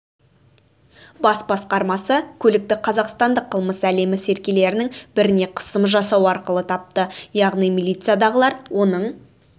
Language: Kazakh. бас басқармасы көлікті қазақстандық қылмыс әлемі серкелерінің біріне қысым жасау арқылы тапты яғни милициядағылар оның